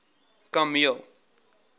kameel